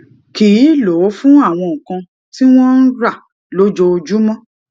kì í lò ó fún àwọn nǹkan tí wón ń rà lójoojúmó